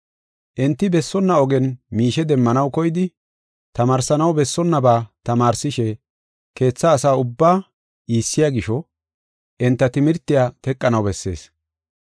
Enti bessonna ogen miishe demmanaw koyidi, tamaarsanaw bessonnaba tamaarsishe keetha asaa ubbaa iissiya gisho enta timirtiya teqanaw bessees.